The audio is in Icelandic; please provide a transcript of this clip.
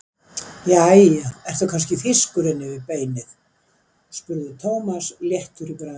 Jæja, ertu kannski þýskur inni við beinið? spurði Thomas léttur í bragði.